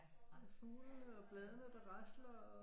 Fuglene og bladene der rasler